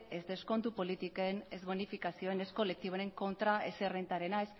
ez deskontu politiken ez bonifikazioen ez kolektiboen kontra ez errentarena